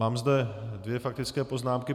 Mám zde dvě faktické poznámky.